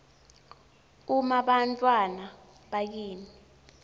um bantfwana bakini